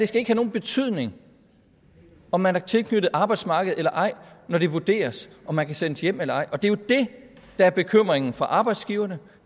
skal have nogen betydning om man er tilknyttet arbejdsmarkedet eller ej når det vurderes om man kan sendes hjem eller ej og det er jo det der er bekymringen for arbejdsgiverne